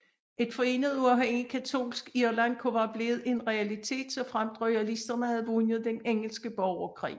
Et forenet uafhængigt katolsk Irland kunne være blevet en realitet såfremt royalisterne havde vundet den engelske borgerkrig